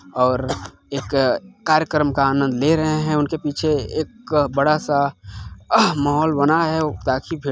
और एक कार्यक्रम का आनंद ले रहे हैं उनके पीछे एक बड़ा सा माहोल बना है।